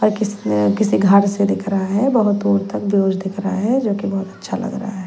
पर किसी घर से दिख रहा है बहुत दूर तक दिख रहा है जो कि बहुत अच्छा लगा है।